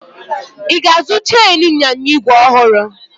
Ị ga-azụ cheenu ịnyịnya igwe ọhụrụ?